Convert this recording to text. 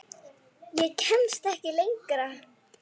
Ég kemst ekki lengra.